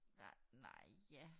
Nej nej ja